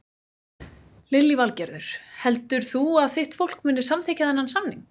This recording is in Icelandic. Lillý Valgerður: Heldur þú að þitt fólk muni samþykkja þennan samning?